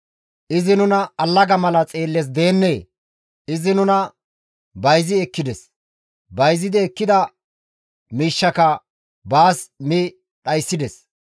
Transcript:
Izi nuna allaga mala xeellees deennee? Izi nuna bayzi ekkides; bayzidi ekkida mishakka baas mi dhayssides.